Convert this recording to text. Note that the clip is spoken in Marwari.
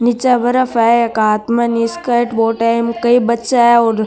निचे बर्फ है हाथ में निस्केट बोट है कई बच्चा है और --